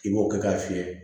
I b'o kɛ k'a fiyɛ